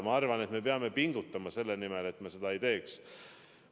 Ma arvan, et me peame pingutama selle nimel, et seda ei juhtuks.